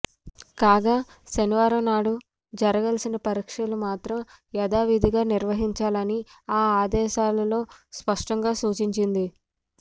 కాగా శనివారం నాడు జరగాల్సిన పరీక్ష మాత్రం యథావిధిగా నిర్వహించాలని ఆ ఆదేశాలలో స్పష్టంగా సూచించింది